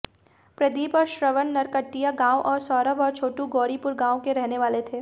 प्रदीप और श्रवण नरकटिया गांव और सौरभ और छोटू गौरीपुर गांव के रहने वाले थे